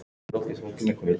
Hún skilur allt.